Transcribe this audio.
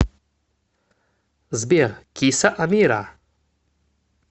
сбер киса амира